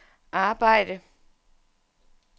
arbejde